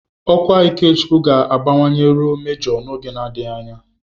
Ọkwa Ikechukwu ga-abawanye ruo Mejọ n'oge adịghị anya.